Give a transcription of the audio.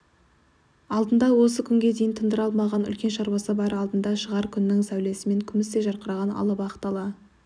алдында осы күнге дейін тындыра алмаған үлкен шаруасы бар алдында шығар күннің сәулесімен күмістей жарқыраған алып ақ дала